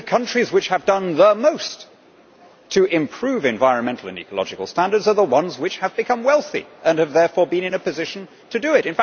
The countries which have done the most to improve environmental and ecological standards are the ones which have become wealthy and have therefore been in a position to do it.